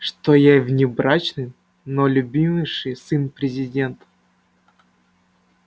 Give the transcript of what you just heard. что я внебрачный но любимейший сын президента